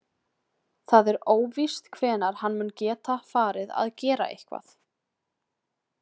Það er óvíst hvenær hann mun geta farið að gera eitthvað.